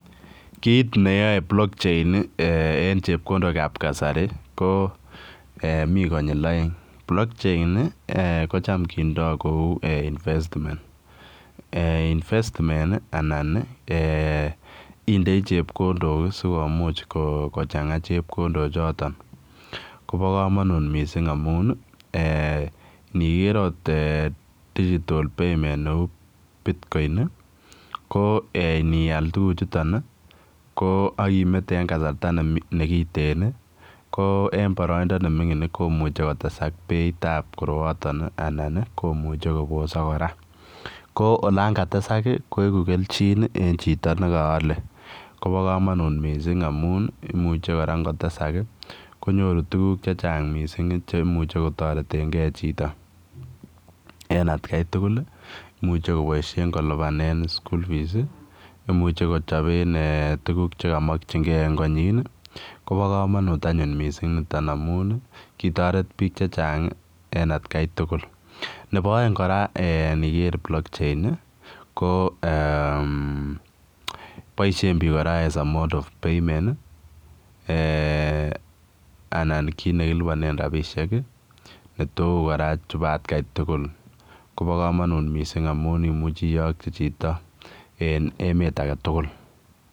Kit ne yae Blockchain en chepkondook ab kasari ko Mii konyiil aeng Blockchain ii kochaam kindaa kou [investments] ii anan ii indei chepkondook ii sikomuuch ko kochangaa chepkondook chotoon kobaa kamanut missing amuun ii eeh nigert akoot eeh [digital payment] ne uu [Bitcoin] ii ko iniyaal tuguuk chutoon ii ko akimete en kasarta nekiteen ii ko en baraindaa ne mingiin ii komuchei kotesaak beit ab koroaataan ii anan ii komuchei kobosaak kora ko olaan katesaak ii koeguu kelchiin en chitoo nekaale koba kamanut missing amuun ii imuche ingotesaak ii konyooru tuguuk che chaang missing cheimuiche kotareteen gei chitoo en at gai tugul ii imuuchei kobaisheen kolupaanen [school fees] ii imuche kechapeen eeh tuguuk che kamakyingei en konyiin ii koba kamanut anyuun missing nitoon amuun ii kotoret biik che chaang eng at Kai tugul nebo aeng kora niger en Blockchain ko eeh boisien biik kora as a mode of payment eeh anan kiit nekilupaneen rapisheek ii ne uu kora chuu bo at Kai tugul koba kamanuut missing amuun imuchei iyakgyii chitoo en emet age tugul.